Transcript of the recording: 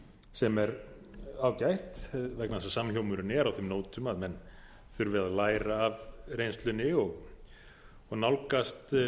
sem er ágætt vegna þess að samhljómurinn er á þeim nótum að menn þurfi að læra af reynslunni og nálgast